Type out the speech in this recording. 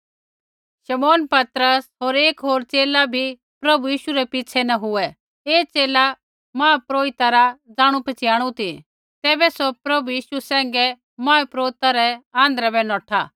शमौन पतरस होर एक होर च़ेला भी प्रभु यीशु रै पिछ़ै न हुऐ ऐ च़ेला महापुरोहिता रा जाणु पछ़ियाणु ती तैबै सौ प्रभु यीशु सैंघै महापुरोहित रै आँध्रै बै नौठा